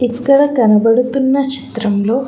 ఇక్కడ కనబడుతున్న చిత్రంలో.